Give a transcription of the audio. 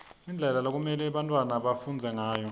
indlela lekumelwe bantfwana bafundze ngayo